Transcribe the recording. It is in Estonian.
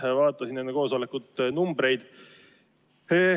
Vaatasin enne koosolekut numbreid.